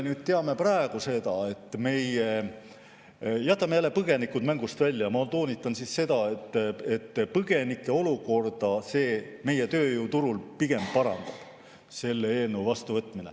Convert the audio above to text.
Jätame jälle põgenikud mängust välja, ma toonitan, et põgenike olukorda selle eelnõu vastuvõtmine meie tööjõuturul pigem parandab.